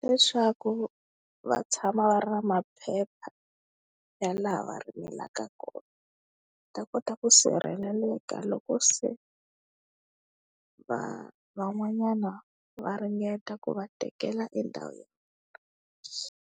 Leswaku va tshama va ri na maphepha ya laha va rimelaka kona va ta kota ku sirheleleka loko se va van'wanyana va ringeta ku va tekela endhawu.